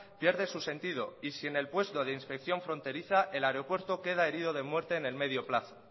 pierde su sentido y sin el puesto de inspección fronteriza el aeropuerto queda herido de muerte en el medio plazo